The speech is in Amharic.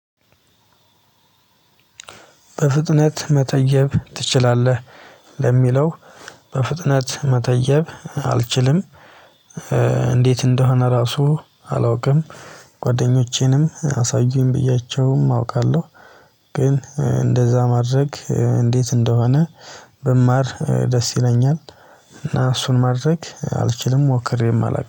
በፍጥነት መተየብ ትችላለህ? ለሚለው በፍጥነት መተየብ አልችልም። እንዴት እንደሆነ ራሱ አላውቅም። ጎደኞቼንም አሳዩኝ ብያቸውም አውቃለሁ። ግን እንደዛ ማድረግ እንዴት እንደሆነ? ብማር ደስ ይለኛል። እና እሱን ማድረግ አልችልም ሞክሬም አላውቅም